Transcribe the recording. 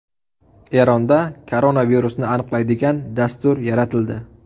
Eronda koronavirusni aniqlaydigan dastur yaratildi.